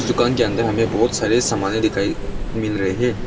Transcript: इस दुकान के अंदर हमे बहुत सारे सामने दिखाई मिल रहे है।